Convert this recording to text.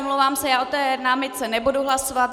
Omlouvám se, já o té námitce nebudu hlasovat.